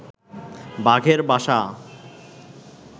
বাঘের বাসা